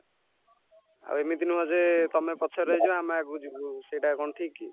ଆଉ ଏମିତି ନୁହଁ ଯେ ତମେ ପଛରେ ରହିଯିବ ଆମେ ଆଗକୁ ଯିବୁ ସେଇଟା କଣ ଠିକ କି